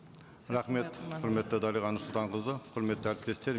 рахмет құрметті дариға нұрсұлтанқызы құрметті әріптестер